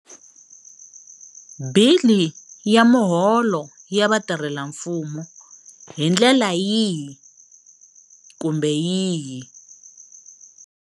Bili ya miholo ya vatirhelamfumo hindlela yihi kumbe yihi.